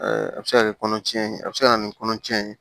a bɛ se ka kɛ kɔnɔtiɲɛni ye a bɛ se ka na ni kɔnɔcɛn ye